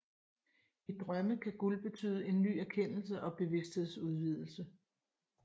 I drømme kan guld betyde ny erkendelse og bevidsthedsudvidelse